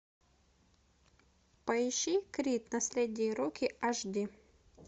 поищи крид наследие рокки аш ди